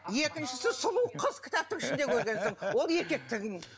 екіншісі сұлу қыз кітаптың ішінде көргенсің ол еркектігің